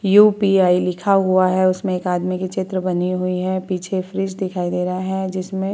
UPI. लिखा हुआ है उसमें एक आदमी की चित्र बनी हुई है पीछे फ्रिज दिखाई दे रहा है जिसमें --